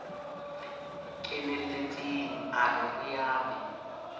kenelletseng a rere a be